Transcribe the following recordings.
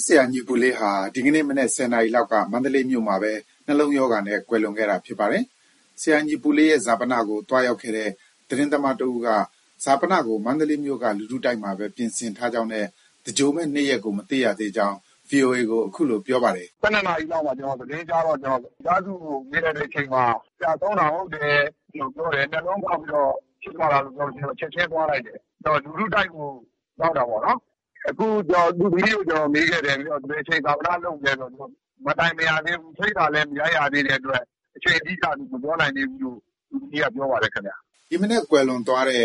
းဆရာညီပုလေးဟာ ဒီကနေ့မနက် ၁၀နာရီလောက်က မန္တလေးမြို့မှာပဲ နှလုံးရောဂါနဲ့ ကွယ်လွန်ခဲ့တာ ဖြစ်ပါတယ်။ ဆရာညီပုလေးရဲ့ ဈာပနကို သွားရောက်ခဲ့တဲ့ သတင်းသမားတဦးက ဈာပနကို မန္တလေးမြို့က လူထုတိုက်မှာပဲ ပြင်ဆင်ထားကြောင်းနဲ့ သင်္ဂြိုလ်မယ့်နေ့ရက်ကို မသိရသေးကြောင်း VOA ကို အခုလို ပြောပါတယ်။ “၁၂နာရီလောက်မှာ ကျနော် သတင်းကြားလိုက်တော့ မိသားစုကို မေးလိုက်တဲ့အချိန်မှာ ဆရာဆုံးတာ ဟုတ်တယ်လို့ ပြောတယ်။ နှလုံးဖောက်ပြီးတော့ ဖြစ်သွားတာလို့ပြောတော့ ကျနော် ချက်ချင်းသွားလိုက်တယ်။ လူထုတိုက်ကို ရောက်တာပေါ့နော်။ အခုကျနော် သူ့သမီးကို မေးခဲ့တယ်။ ဘယ်အချိန် ဈာပနလုပ်မလဲဆိုတော့ မတိုင်ပင်ရသေးဘူး၊ ဖိတ်စာလည်း မရိုက်ရသေးတဲ့အတွက် အချိန်အတိအကျ မပြောနိုင်သေးဘူးလို့ သူ့သမီးက ပြောပါတယ်ခင်ဗျ။” ဒီမနက် ကွယ်လွန်သွားတဲ့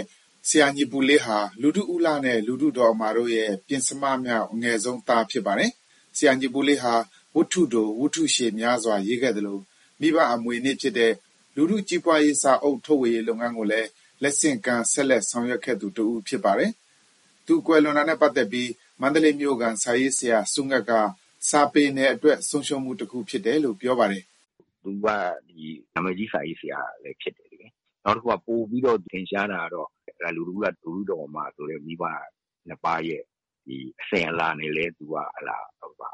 ဆရာညီပုလေးဟာ လူထုဦးလှနဲ့ လူထု ဒေါ်အမာတို့ရဲ့ ပဉ္စမမြောက် အငယ်ဆုံး သားဖြစ်ပါတယ်။ ဆရာညီပုလေးဟာ ဝတ္ထုတို၊ ဝတ္ထုရှည်များစွာရေးသားခဲ့သလို မိဘအမွေအနှစ်ဖြစ်တဲ့ လူထု ကြီးပွားရေး စာအုပ်ထုတ်ဝေရေးလုပ်ငန်းကိုလည်း လက်ဆင့်ကမ်း ဆက်လက် ဆောင်ရွက်ခဲ့သူတဦးဖြစ်ပါတယ်။ သူကွယ်လွန်သွားတာနဲ့ပတ်သက်ပြီး မန္တလေးမြို့ခံစာရေးဆရာ ဆရာဆူးငှက်က စာပေနယ်အတွက် ဆုံးရှုံးမှုတခုအဖြစ် အခုလို ပြောပါတယ်။ “သူက နာမည်ကြီးစာရေးဆရာလည်း ဖြစ်တယ်လေ။ နောက်တခုက ပိုပြီးထင်ရှားတာကတော့ လူထုဦးလှ ၊ လူထုဒေါ်အမာဆိုတဲ့ မိဘနှစ်ပါးရဲ့ အစဉ်အလာနဲ့လည်း သူက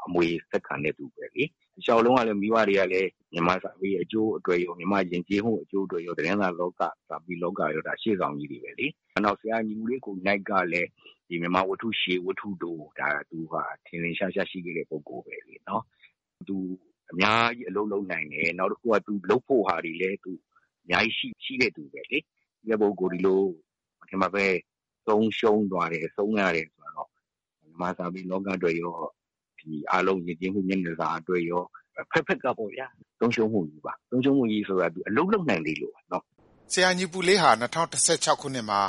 အမွေဆက်ခံတဲ့သူပဲ။ တလျောက်လုံးက မိဘတွေကလည်း မြန်မာစာပေအကျိုးအတွက်ရော၊ မြန်မာ့ယဉ်ကျေးမှု အကျိုးအတွက်ရော သတင်းစာလောက၊ စာပေလောကရော ရှေ့ဆောင်ကြီးတွေပဲလေ။ နောက် ဆရာညီပုလေး ကိုယ်နှိုက်ကလည်း မြန်မာဝတ္ထုတို၊ ဝတ္ထုရှည် ထင်ထင်ရှားရှား ရှိခဲ့တဲ့သူပဲလေ။ သူအများကြီး အလုပ်လုပ်နိုင်တယ်။ နောက်တခုက လုပ်ဖို့ဟာတွေလည်း အများကြီး ရှိတဲ့သူပဲလေ။ ရှိတဲ့ပုဂ္ဂိုလ် ဒီလို မထင်မှတ်ဘဲ ဆုံးရှုံးသွားတယ်။ ဆုံးရတယ်ဆိုတာတော့ မြန်မာစာပေလောကအတွက်ရော၊ ယဉ်ကျေးမှုမျက်နှာစာအတွက်ရော အဖက်ဖက်ကပေါ့ဗျာ၊ ဆုံးရှုံးမှုကြီးပါ။ ဆုံးရှုံးမှုကြီးဆိုတာ သူ အလုပ်လုပ်နိုင်သေးလို့ပါ။” ဆရာညီပုလေးဟာ ၂၀၁၆ခုနှစ်မှာ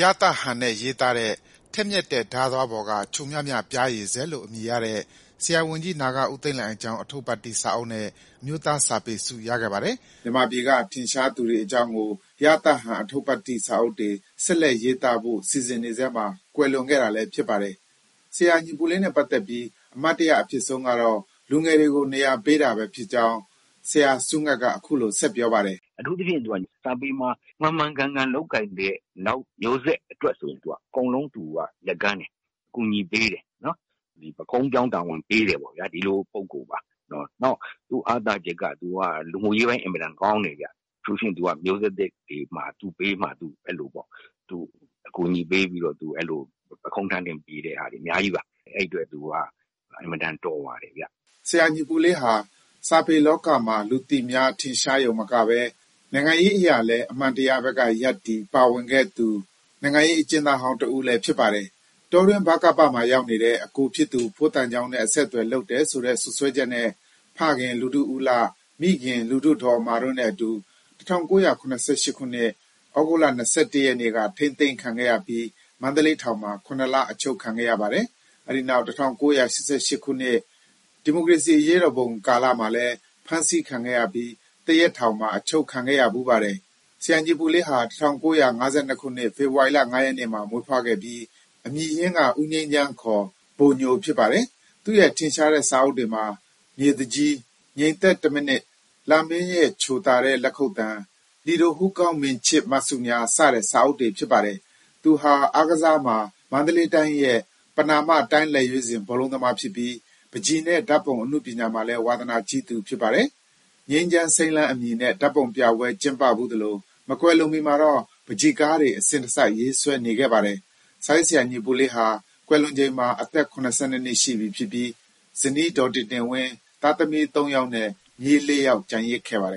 ရသဟန်နဲ့ရေးသားတဲ့ "ထက်မြက်တဲ့ဓါးသွားပေါ်က ချိုမြမြပျားရည်စက်" လို့ အမည်ရတဲ့ ဆရာဝန်ကြီး နာဂဦးသိန်းလှိုင်အကြောင်း အထုပ္ပတ္တိစာအုပ်နဲ့ အမျိုးသားစာပေဆု ရခဲ့ပါတယ်။မြန်မာပြည်က ထင်ရှားသူတွေအကြောင်းကို ရသဟန်အထုပ္ပတ္တိစာအုပ်တွေ ဆက်လက်ရေးသားဖို့ စီစဉ်နေဆဲမှာ ကွယ်လွန်ခဲ့တာလည်း ဖြစ်ပါတယ်။ ဆရာညီပုလေးနဲ့ပတ်သက်ပြီး အမှတ်တရအဖြစ်ဆုံးကတော့ လူငယ်တွေကို နေရာပေးတာပဲဖြစ်ကြောင်း ဆရာဆူးငှက်က အခုလို ဆက်ပြောပါတယ်။ “အထူးသဖြင့် သူက စာပေမှာ မှန်မှန်ကန်ကန် လုပ်ကိုင်တဲ့ နောက်မျိုးဆက်အတွက် အကုန်လုံး သူက လက်ကမ်းတယ်။ အကူအညီပေးတယ်။ ဒီ ပုခုံးပြောင်းတာဝန်ပေးတယ်ပေါ့ဗျာ။ ဒီလိုပုဂ္ဂိုလ်ပါ။ နောက် အားသာချက်က သူက လူမှုရေးပိုင်း အင်မတန်ကောင်းတယ်ဗျ။ အထူးသဖြင့် သူက မျိုးဆက်သစ်တွေမှာ သူ့ဘေးမှာ သူ အဲလိုပေါ့။ အကူအညီပေးပြီးတော့ ပုခုံးထမ်းတင်ပေးတာတွေ အများကြီးပါ။ အဲဒီအတွက် သူက အင်မတန် တော်ပါတယ်။” ဆရာ ညီပုလေးဟာ စာပေလောကမှာ လူသိများ၊ ထင်ရှာယုံတင်မကဘဲ နိုင်ငံရေးအရလည်း အမှန်တရားဘက်က ရပ်တည်၊ ပါဝင်ခဲ့သူ နိုင်ငံရေးအကျဥ်းသားဟောင်းတဦးလည်း ဖြစ်ပါတယ်။ တောတွင်း ဗကပ မှာ ရောက်နေတဲ့ အကိုဖြစ်သူ ဖိုးသံချောင်းနဲ့ စာအဆက်အသွယ် လုပ်တယ်ဆိုတဲ့ စွပ်စွဲချက်နဲ့ ဖခင် လူထု ဦးလှ၊ မိခင် လူထု ဒေါ်အမာတို့နဲ့အတူ ၁၉၇၈ ခုနှစ်၊ ဩဂုတ် ၂၁ ရက်နေ့က ထိန်းသိမ်း ခံခဲ့ရပြီး မန္တလေးထောင်မှာ ၇ လ အချုပ်ခံခဲ့ရပါတယ်။ အဲဒီနောက် ၁၉၈၈ ခုနှစ်၊ ဒီမိုကရေစီအရေးတော်ပုံ ကာလမှာလည်း ဖမ်းဆီးခံခဲ့ရပြီး သရက်ထောင်မှာ ချုပ်နှောင်ခံခဲ့ဖူးပါတယ်။ ဆရာညီပုလေးဟာ ၁၉၅၂ခုနှစ် ဖေဖော်ဝါရီလ ၅ရက်နေ့မှာ မွေးဖွားခဲ့ပြီး အမည်ရင်းက ဦးငြိမ်းချမ်း ခေါ် ဘိုညိုဖြစ်ပါတယ်။ သူ့ရဲ့ ထင်ရှားတဲ့စာအုပ်တွေမှာ မြေးသူကြီး၊ ငြိမ်သက်တမိနစ်၊ လမင်းရဲ့ချိုသာတဲ့ လက်ခုပ်သံ ၊ လီဒို ဟူးကောင်းမင်ခြစ်မှတ်စုများ စတဲ့ စာအုပ်တွေ ပါဝင်ပါတယ်။ သူဟာ အားကစားမှာ မန္တလေးတိုင်းရဲ့ ပဏာမ တိုင်းလက်ရွေးစဉ် ဘောလုံးသမားဖြစ်ပြီး ပန်းချီနဲ့ ဓါတ်ပုံအနုပညာမှာလည်း ဝါသနာကြီးသူ ဖြစ်ပါတယ်။ ငြိမ်းချမ်းစိမ်းလန်းအမည်နဲ့ ဓါတ်ပုံပြပွဲ ကျင်းပဖူးသလို မကွယ်လွန်မီမှာတော့ ပန်းချီကားတွေ အစဉ်တစိုက်ရေးဆွဲနေခဲ့ပါတယ်။ စာရေးဆရာညီပုလေးဟာ ကွယ်လွန်ချိန်မှာ အသက်၇၂ နှစ်ရှိပြီး ဇနီးဒေါ်တင်တင်ဝင်း၊ သားသမီး ၃ယောက်နဲ့ မြေး ၄ယောက် ကျန်ရစ်ခဲ့ပါတယ်